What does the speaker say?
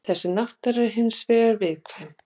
Þessi náttúra er hins vegar viðkvæm.